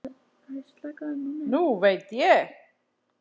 Nú veit ég.